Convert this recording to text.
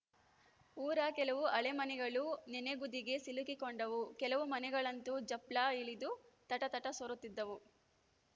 ಊರ ಕೆಲವು ಹಳೆ ಮನೆಗಳು ನೆನೆಗುದಿಗೆ ಸಿಲುಕಿಕೊಂಡವು ಕೆಲವು ಮನೆಗಳಂತು ಜಂಪ್ಲ ಹಿಡಿದು ತಟತಟ ಸೋರುತಿದ್ದವು